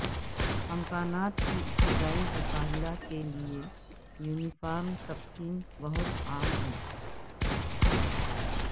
امکانات کی ابتدائی مطالعہ کے لئے یونیفارم تقسیم بہت عام ہیں